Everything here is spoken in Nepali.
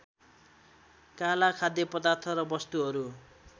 काला खाद्यपदार्थ र वस्तुहरू